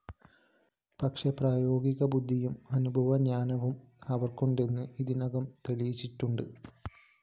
പക്ഷേ പ്രായോഗിക ബുദ്ധിയും അനുഭവജ്ഞാനവും അവര്‍ക്കുണ്ടെന്ന് ഇതിനകം തെളിയിച്ചിട്ടുണ്ട്